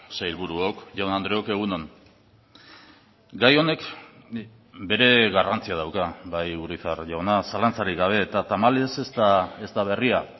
sailburuok jaun andreok egun on gai honek bere garrantzia dauka bai urizar jauna zalantzarik gabe eta tamalez ez da berria